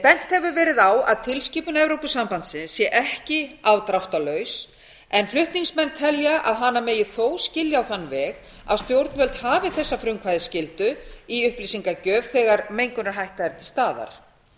bent hefur verið á að tilskipun evrópusambandsins sé ekki afdráttarlaus en flutningsmenn telja að hana megi þó skilja á þann veg að stjórnvöld hafi þessa frumkvæðisskyldu í upplýsingagjöf þegar mengunarhætta til staðar